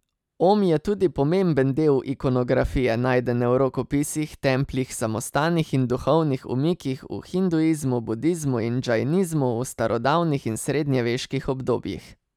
Om je tudi pomemben del ikonografije, najdene v rokopisih, templjih, samostanih in duhovnih umikih v hinduizmu, budizmu in džainizmu v starodavnih in srednjeveških obdobjih.